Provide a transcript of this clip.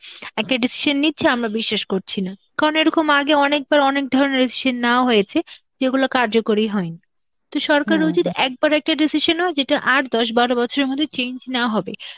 একটা decision নিচ্ছে, আমরা বিশ্বাস করছি না, কারণ এরকম আগে অনেকবার অনেক ধরনের decision নেওয়া হয়েছে যেগুলো কার্যকরী হয়নি. তো সরকারের উচিত একবারে একটা decision নেওয়া যেটা আর দশ বারো বছরের মধ্যে change না হবে.